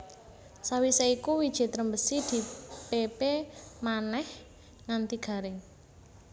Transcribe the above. Sawisé iku wiji trembesi di pépé manèh nganti garing